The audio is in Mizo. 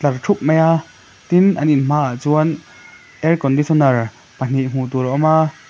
ṭhup mai a tin an in hmaah chuan air conditioner pahnih hmuh tur a awm a--